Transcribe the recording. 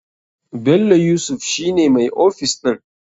Bello yusuf shi ne mai ofis ɗin.